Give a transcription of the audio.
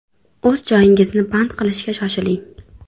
O‘z joyingizni band qilishga shoshiling!